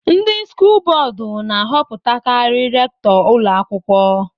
Ndị skụl bọọdú na-ahọpụtakari rèktọ ụlọ akwụkwọ